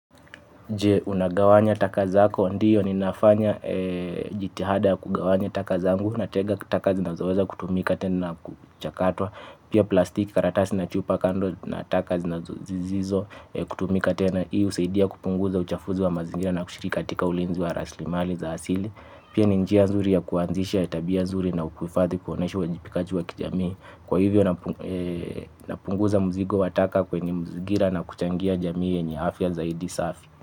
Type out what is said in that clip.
Je, unagawanya taka zako? Ndiyo ni nafanya jitihada ya kugawanya taka zangu natega taka zinazoweza kutumika tena na kuchakatwa pia plastiki karatasi na chupa kando na taka zisizo kutumika tena. Hi usaidia kupunguza uchafuzi wa mazingira na kushirika katika ulinzi wa raslimali za asili. Pia ninjia nzuri ya kuanzisha ya tabia nzuri na kuifadhi kuonesha uwa jipikaji wa kijamii. Kwa hivyo napunguza muzigo wa taka kwenye muzigira na kuchangia jamii yenye afya zaidi safi.